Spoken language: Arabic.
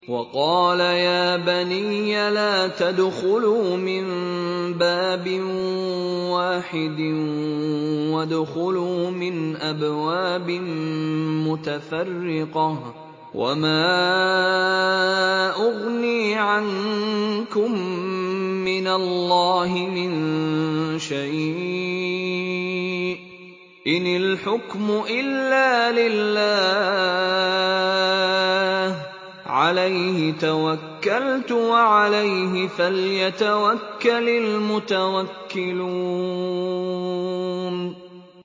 وَقَالَ يَا بَنِيَّ لَا تَدْخُلُوا مِن بَابٍ وَاحِدٍ وَادْخُلُوا مِنْ أَبْوَابٍ مُّتَفَرِّقَةٍ ۖ وَمَا أُغْنِي عَنكُم مِّنَ اللَّهِ مِن شَيْءٍ ۖ إِنِ الْحُكْمُ إِلَّا لِلَّهِ ۖ عَلَيْهِ تَوَكَّلْتُ ۖ وَعَلَيْهِ فَلْيَتَوَكَّلِ الْمُتَوَكِّلُونَ